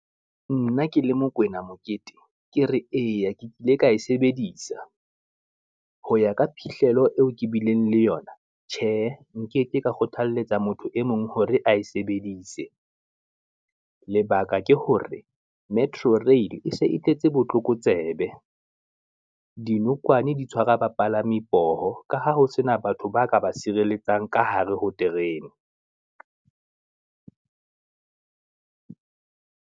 Nna ke le Mokoena Mokete ke re eya ke kile ka e sebedisa, ho ya ka phihlelo eo ke bileng le yona, tjhe nkeke ka kgothaletsa motho e mong hore a e sebedise. Lebaka ke hore metro rail e se e tletse botlokotsebe, dinokwane di tshwara bapalami poho ka ha ho sena batho ba ka ba sireletsang ka hare ho terene.